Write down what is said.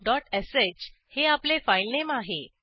fileattrib2श हे आपले फाईलनेम आहे